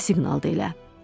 Nə siqnaldı elə?